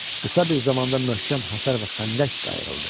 Qısa bir zamanda möhkəm həsər və xəndək qayrıldı.